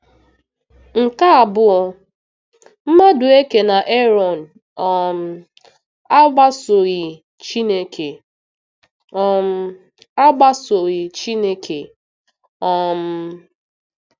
Nke abụọ, Madueke na Erọn um agbasoghị Chineke. um agbasoghị Chineke. um